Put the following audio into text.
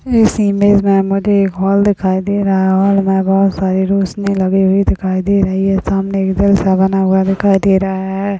इस इमेज में मुझ एक हॉल दिखाई दे रहा है हॉल में बहुत सारी रोशनी लगी हुई हैसामने एक दिल सा बना हुआ दिखाई दे रहा है।